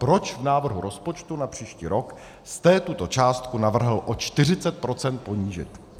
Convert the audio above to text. Proč v návrhu rozpočtu na příští rok jste tuto částku navrhl o 40 % ponížit?